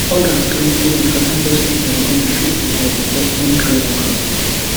odas claim say di fada just pick im gun shoot di boy becos im throw knock out